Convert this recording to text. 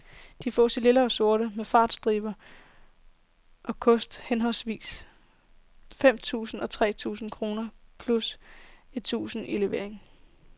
De fås i lilla og sort, med fartstriber, og koster henholdsvis femten tusinde og tretten tusinde kroner, plus et tusinde i levering.